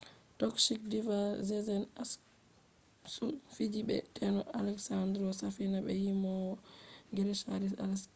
tokish diva sezen aksu fiji be teno alesandro safina be yimowo grik haris aleksio